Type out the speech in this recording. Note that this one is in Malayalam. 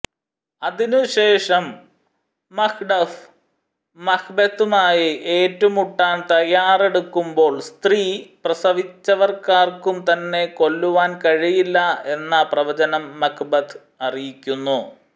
അതിനുശേഷം മക്ഡഫ് മക്ബെത്തുമായി ഏറ്റുമുട്ടാൻ തയ്യാറെടുക്കുമ്പോൾ സ്ത്രീ പ്രസവിച്ചവർക്കാർക്കും തന്നെ കൊല്ലുവാൻ കഴിയുകയില്ല എന്ന പ്രവചനം മക്ബെത്ത് അറിയിക്കുന്നു